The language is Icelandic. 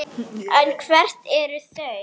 En hver eru þau?